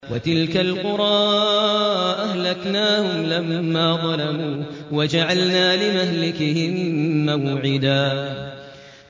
وَتِلْكَ الْقُرَىٰ أَهْلَكْنَاهُمْ لَمَّا ظَلَمُوا وَجَعَلْنَا لِمَهْلِكِهِم مَّوْعِدًا